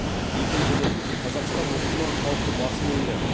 екіншіден қазақстан мұсылман халқы басым елі